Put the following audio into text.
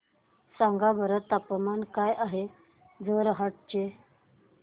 सांगा बरं तापमान काय आहे जोरहाट चे